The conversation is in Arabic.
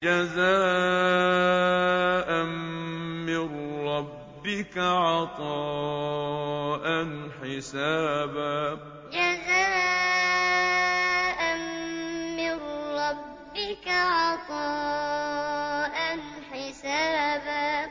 جَزَاءً مِّن رَّبِّكَ عَطَاءً حِسَابًا جَزَاءً مِّن رَّبِّكَ عَطَاءً حِسَابًا